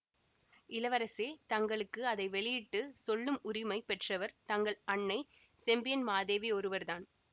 இளவரசே தங்களுக்கு அதை வெளியிட்டு சொல்லும் உரிமை பெற்றவர் தங்கள் அன்னை செம்பியன் மாதேவி ஒருவர் தான்